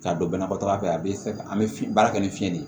K'a don banabaatɔ fɛ a be an be baara kɛ ni fiɲɛ de ye